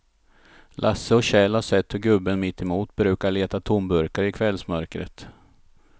Lasse och Kjell har sett hur gubben mittemot brukar leta tomburkar i kvällsmörkret.